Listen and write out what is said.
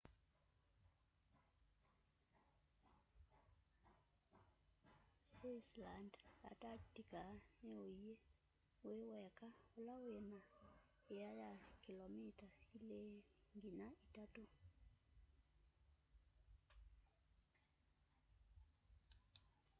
inland antarctica ni uinyi wi weka ula wina ĩa ya kilomita 2-3